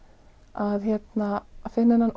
að finna þennan